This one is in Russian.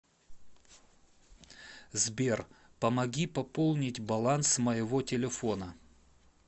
сбер помоги пополнить баланс моего телефона